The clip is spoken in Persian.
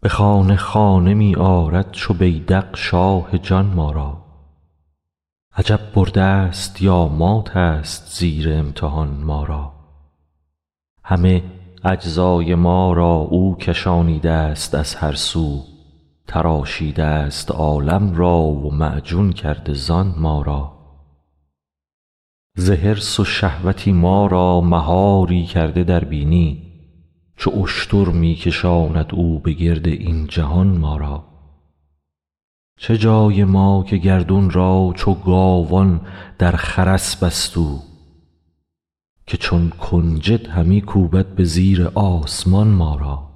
به خانه خانه می آرد چو بیذق شاه جان ما را عجب بردست یا ماتست زیر امتحان ما را همه اجزای ما را او کشانیده ست از هر سو تراشیده ست عالم را و معجون کرده زان ما را ز حرص و شهوتی ما را مهاری کرده در بینی چو اشتر می کشاند او به گرد این جهان ما را چه جای ما که گردون را چو گاوان در خرس بست او که چون کنجد همی کوبد به زیر آسمان ما را